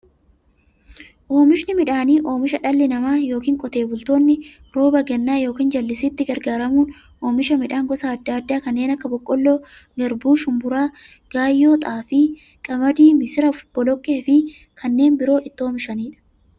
Oomishni midhaanii, oomisha dhalli namaa yookiin Qotee bultoonni roba gannaa yookiin jallisiitti gargaaramuun oomisha midhaan gosa adda addaa kanneen akka; boqqoolloo, garbuu, shumburaa, gaayyoo, xaafii, qamadii, misira, boloqqeefi kanneen biroo itti oomishamiidha.